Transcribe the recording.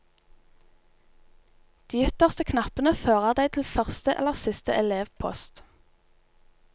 De ytterste knappene fører deg til første eller siste elevpost.